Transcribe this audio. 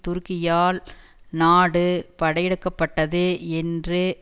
துருக்கியால் நாடு படையெடுக்கப்பட்டது என்று